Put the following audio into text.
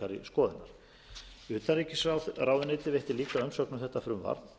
líka umsögn um þetta frumvarp